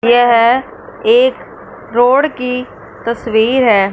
यह एक रोड की तस्वीर है।